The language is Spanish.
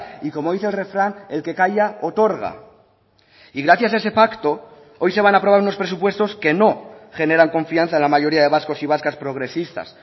y como dice el refrán el que calla otorga y gracias a ese pacto hoy se van a aprobar unos presupuestos que no generan confianza en la mayoría de vascos y vascas progresistas